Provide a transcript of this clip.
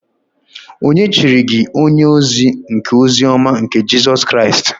Ònye chiri gi onye-ozi nke ozi-ọma nke Jisus Kraist?